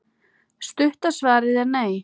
Stutta svarið er: nei.